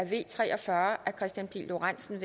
v tre og fyrre af kristian pihl lorentzen